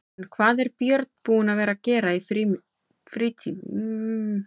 En hvað er Björn búinn að vera að gera í frítímanum?